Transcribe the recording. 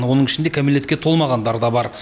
оның ішінде кәмелетке толмағандар да бар